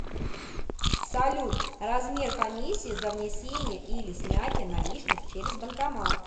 салют размер комиссии за внесение или снятие наличных через банкомат